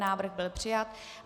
Návrh byl přijat.